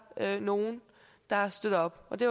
nogle der støtter og det